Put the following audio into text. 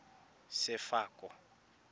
sefako